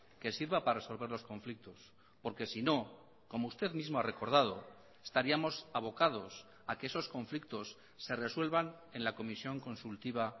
que sirva para resolver los conflictos porque sino como usted mismo ha recordado estaríamos abocados a que esos conflictos se resuelvan en la comisión consultiva